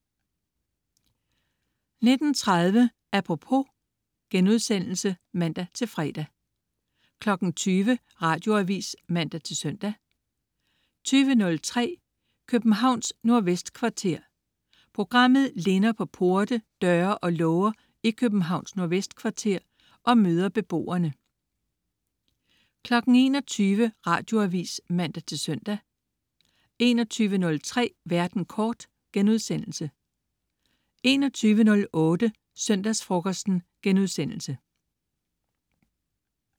19.30 Apropos* (man-fre) 20.00 Radioavis (man-søn) 20.03 Københavns Nordvestkvarter. Programmet linder på porte, døre og låger i Københavns Nordvestkvarter og møder beboerne 21.00 Radioavis (man-søn) 21.03 Verden kort* 21.08 Søndagsfrokosten*